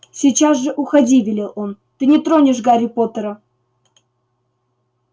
сейчас же уходи велел он ты не тронешь гарри поттера